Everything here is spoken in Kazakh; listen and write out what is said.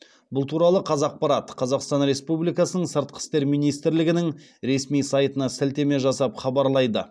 бұл туралы қазақпарат қазақстан республикасының сыртқы істер министрлігінің ресми сайтына сілтеме жасап хабарлайды